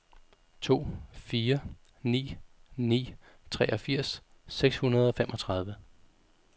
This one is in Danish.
to fire ni ni treogfirs seks hundrede og femogtredive